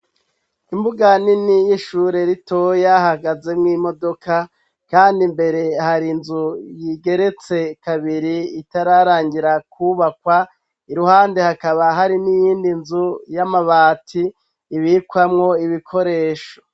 Imbuga nini y'ishure rito hahagazemwo imodoka kandi imbere hari inzu igeretse kabiri itararangira kubakwa iruhande hakaba hari n'iyindi nzu y'amabati ibikwamwo ibikoresho.